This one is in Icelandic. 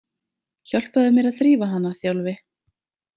Hjálpaðu mér að þrífa hana, Þjálfi